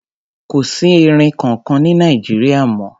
Kò sí erin kankan ní Nàìjíríà mọ́.